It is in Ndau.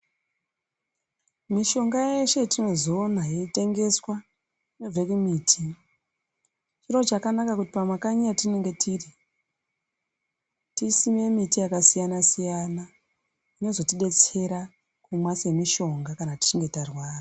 Mishonga yeshe yetinozoona yeitengeswa ,inobve kumiti. Chiro chakanaka kuti pamakanyi petinenge tiri, tisime miti yakasiyana-siyana, inozotidetera kumwa semishonga, kana tichinge tarwara.